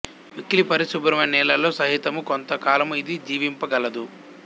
మిక్కిలి పరిశుభ్రమైన నీళ్లలో సహితము కొంత కాలము ఇది జీవింప గలదు